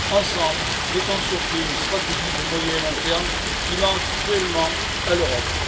Ensemble, mettons sur pied une stratégie de moyen et long terme qui manque cruellement à l'Europe.